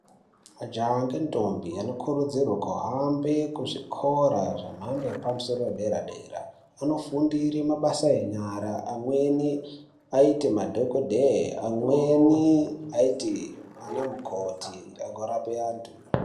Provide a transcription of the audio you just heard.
Majaha nendombi anokurudzirwa kuhambe kuzvikora zvemhando yepadera dera ,kunofundire mabasa enyara amweni aite madhokoteya amweni aite ana mukoti orape antu.